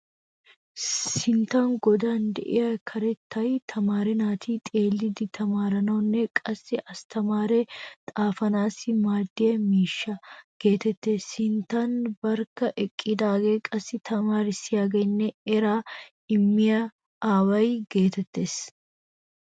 Sinttan godan de'iyaa karettay tamaare naati a xeelli tamaaranawunne qassi asttamaare xaafanaassi maaddiya miishsha geetettees. Sinttan barkka eqqidaagee qassi tamaarissiyaagaanne eraa immiya aawaa geetettees.